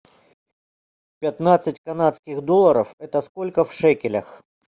пятнадцать канадских долларов это сколько в шекелях